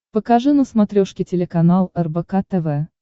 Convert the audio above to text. покажи на смотрешке телеканал рбк тв